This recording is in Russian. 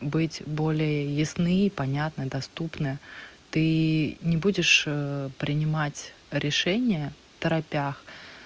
быть более ясны и понятно доступно ты не будешь принимать решение второпях